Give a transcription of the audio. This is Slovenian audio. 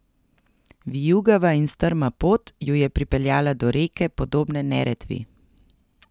Vijugava in strma pot ju je pripeljala do reke, podobne Neretvi.